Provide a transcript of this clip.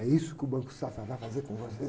É isso que o Banco Safra vai fazer com vocês.